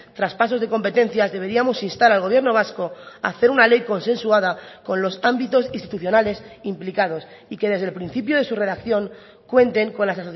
traspasos de competencias deberíamos instar al gobierno vasco a hacer una ley consensuada con los ámbitos institucionales implicados y que desde el principio de su redacción cuenten con las